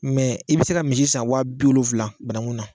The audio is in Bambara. i bɛ se ka misi san wa biwolonwula bananku na